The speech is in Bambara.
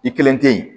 I kelen tɛ yen